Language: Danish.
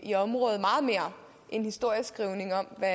i området meget mere end historieskrivning om hvad